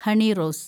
Honey Rose